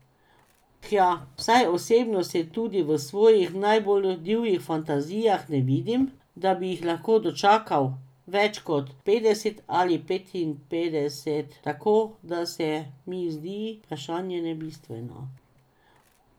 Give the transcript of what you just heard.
Hja, vsaj osebno se tudi v svojih najbolj divjih fantazijah ne vidim, da bi jih lahko dočakal več kot petdeset ali petinpetdeset, tako da se mi zdi vprašanje nebistveno.